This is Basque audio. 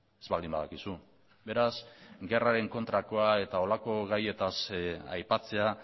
ez baldin badakizu beraz gerraren kontrakoa eta horrelako gaietaz aipatzea